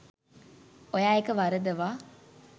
ඔයා ඒක වරදවා